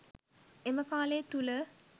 එම කාලය තුල